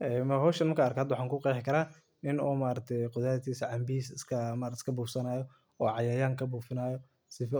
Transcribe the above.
Ee hoshan marka an arko in u canbadisa iyo beertisa u